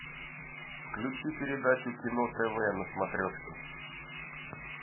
включи передачу кино тв на смотрешке